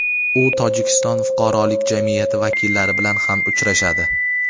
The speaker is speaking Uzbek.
u Tojikiston fuqarolik jamiyati vakillari bilan ham uchrashadi.